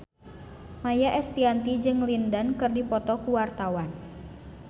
Maia Estianty jeung Lin Dan keur dipoto ku wartawan